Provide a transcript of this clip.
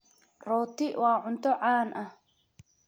Roti waa cunto caan ah.